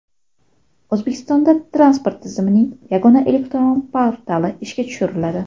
O‘zbekistonda transport tizimining yagona elektron portali ishga tushiriladi.